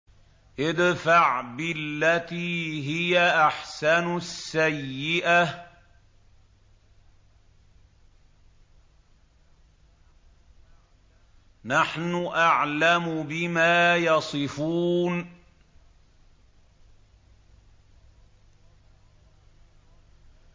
ادْفَعْ بِالَّتِي هِيَ أَحْسَنُ السَّيِّئَةَ ۚ نَحْنُ أَعْلَمُ بِمَا يَصِفُونَ